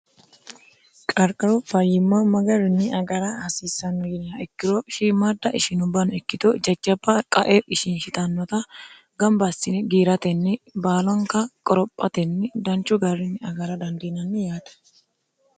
qarqaru fayyimma magarinni agara hasiissanno yineha ikkiro shiimaadda ishinubano ikkito jajjaba qae ishinshitannota gamba assine giiratenni baalanika qorophatenni danchu garrinni agara dandiinanni yaate